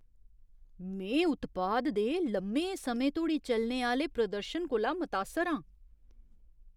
में उत्पाद दे लम्में समें धोड़ी चलने आह्‌ले प्रदर्शन कोला मतासर आं।